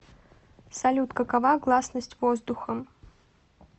салют какова гласность воздухом